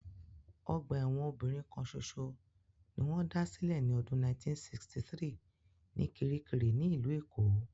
Ọgbà ẹ̀wọ̀n obìnrin kan ṣoṣo ni wón dá sílẹ̀ ní ọdún 1963 ní kiríkirì ní ìlú Èkó